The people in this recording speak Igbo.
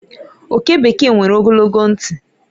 Oke bekee nwere ogologo ntị.